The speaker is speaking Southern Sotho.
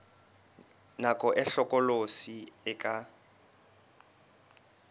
nako e hlokolosi e ka